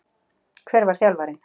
Hver var þjálfarinn?